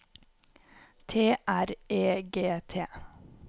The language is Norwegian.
T R E G T